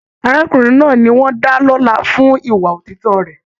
Arákùnrin náà ní wọn dá lọla fún ìwà òtítọ rẹ.